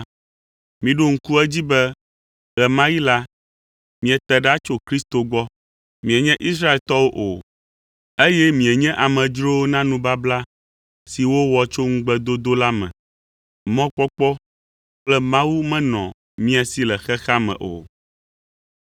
miɖo ŋku edzi be ɣe ma ɣi la, miete ɖa tso Kristo gbɔ, mienye Israeltɔwo o, eye mienye amedzrowo na nubabla si wowɔ tso ŋugbedodo la me, mɔkpɔkpɔ kple Mawu menɔ mia si le xexea me o.